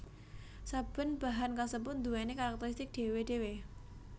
Saben bahan kasebut nduwèni karakteristik dhéwé dhéwé